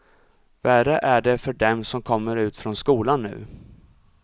Värre är det för dem som kommer ut från skolan nu.